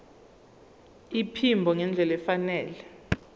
iphimbo ngendlela efanele